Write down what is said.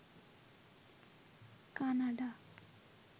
Canada